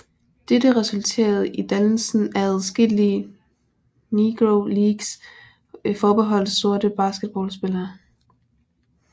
Dette resulterede i dannelsen af adskillige Negro Leagues forbeholdt sorte baseballspillere